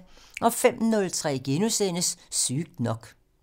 05:03: Sygt nok *